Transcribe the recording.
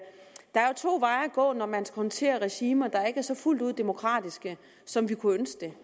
to veje at gå når man håndterer regimer der ikke er så fuldt ud demokratiske som vi kunne ønske det